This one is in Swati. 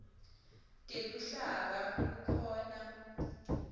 teluhlaka kukhona